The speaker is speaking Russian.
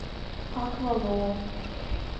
аквалоо